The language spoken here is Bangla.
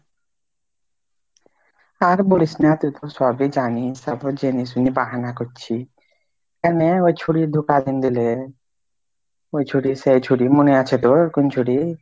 আর বলিস না তুই তো সব ই জানিস তারপর জেনে শুনে বাহানা করছি কেনে ওই ছুঁড়ি ধোকা দীন দিলে, ওই ছুঁড়ি সেই ছুঁড়ি মনে আছে তোর? কোন ছুঁড়ি ?